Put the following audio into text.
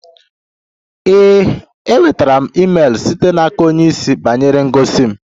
Ee, enwetara m email site n'aka onye isi banyere ngosi m